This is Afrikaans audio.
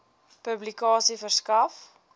publikasie verskaf